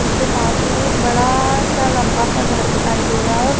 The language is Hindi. उनके पास मे एक बड़ा सा लंबा सा घर दिखाई दे रहा है और --